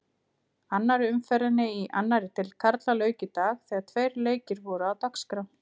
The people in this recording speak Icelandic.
Annarri umferðinni í annarri deild karla lauk í dag þegar tveir leikir voru á dagskrá.